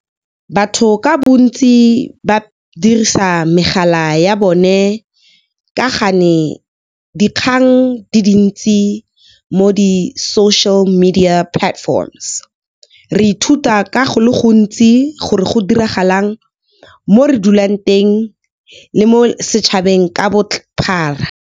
Batho ka bontsi ba dirisa megala ya bone ka ga ne dikgang di dintsi, mo di-social media platforms. Re ithuta ka go le gontsi gore go diragalang mo re dulang teng le mo setšhabeng ka bophara.